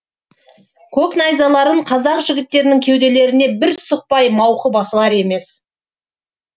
көк найзаларын қазақ жігіттерінің кеуделеріне бір сұқпай мауқы басылар емес